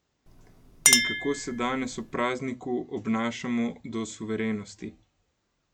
In kako se danes, ob prazniku, obnašamo do suverenosti?